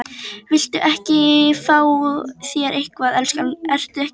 Viltu ekki fá þér eitthvað, elskan, ertu ekki svöng?